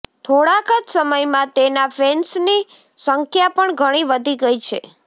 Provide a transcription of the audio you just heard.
થોડાક જ સમયમાં તેના ફેન્સની સંખ્યા પણ ઘણી વધી ગઈ છે